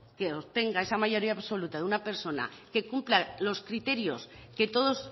que obtenga esa mayoría absoluta de una persona que cumpla los criterios que todos